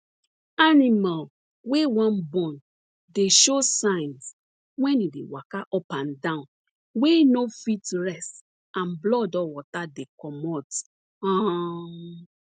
animal wey wan born dey show signs wen e dey waka up and down wey no fit rest and blood or water dey comot um